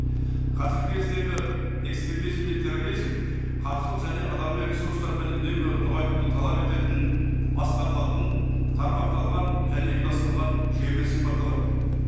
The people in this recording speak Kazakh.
қазіргі кездегі экстремизм мен терроризм қаржылық және адамдар ресурстарымен үнемі нығайтуды талап ететін басқарылатын тармақталған және ұйымдастырған жүйемен сипатталады